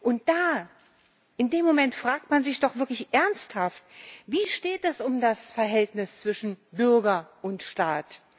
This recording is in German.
Und da in dem Moment fragt man sich doch wirklich ernsthaft Wie steht es um das Verhältnis zwischen Bürger und Staat?